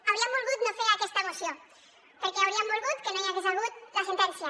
hauríem volgut no fer aquesta moció perquè hauríem volgut que no hi hagués hagut la sentència